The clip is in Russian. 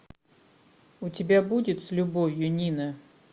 у тебя будет с любовью нина